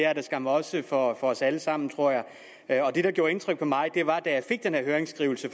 er det skam også for os alle sammen tror jeg det der gjorde indtryk på mig var den her høringskrivelse